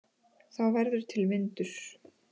Þá verður til vindur.